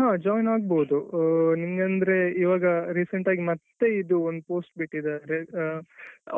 ಹಾ joinಆಗ್ಬೋದು ಹಾ ನಿಮಿಗಂದ್ರೆ ಈವಾಗ recent ಆಗಿ ಮತ್ತೆ ಇದು ಒಂದ್ postಬಿಟ್ಟಿದಾರೆ